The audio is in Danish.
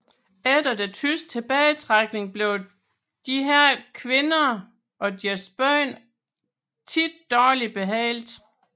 Efter den tyske tilbagetrækning blev disse kvinder og deres børn ofte dårligt behandlet